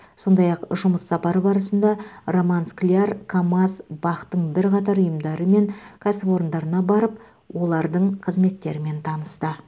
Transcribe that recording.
сондай ақ жұмыс сапары барысында роман скляр камаз бақ тың бірқатар ұйымдары мен кәсіпорындарына барып олардың қызметтерімен танысты